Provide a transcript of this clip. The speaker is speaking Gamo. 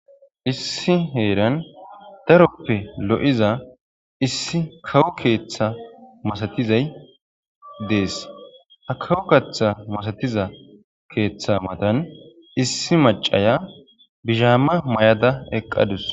issi heeran daroppe lo7iza issi kawo keeththa masatizay dees ha kawu katha masatiza keeththa matan issi macaya bizhaamma may7ada eqqadus